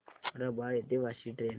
रबाळे ते वाशी ट्रेन